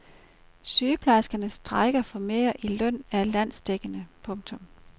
Sygeplejerskernes strejke for mere i løn er landsdækkende. punktum